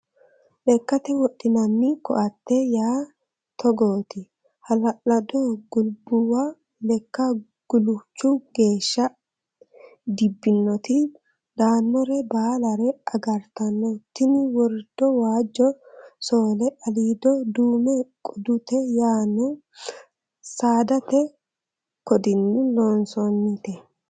Lekkate wodhinanni koatte yaa togot hala'lado gulbubba lekka guluchu geeshsha dibbinoti daanore baalla agartano tini worido waajjo sole alido dume qodute yaano saadate qodini loonsonnite